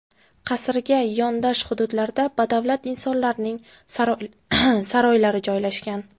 Qasrga yondosh hududlarda badavlat insonlarning saroylari joylashgan.